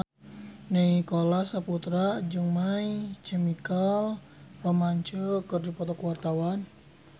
Nicholas Saputra jeung My Chemical Romance keur dipoto ku wartawan